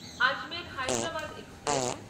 Ajmer Hyderabad express